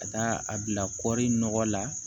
Ka taa a bila kɔri nɔgɔ la